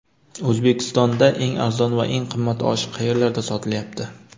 O‘zbekistonda eng arzon va eng qimmat osh qayerlarda sotilyapti?.